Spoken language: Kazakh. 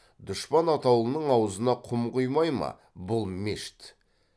дұшпан атаулының аузына құм құймай ма бұл мешіт